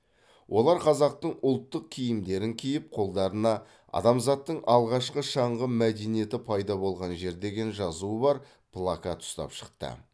олар қазақтың ұлттық киімдерін киіп қолдарына адамзаттың алғашқы шаңғы мәдениеті пайда болған жер деген жазуы бар плакат ұстап шыққан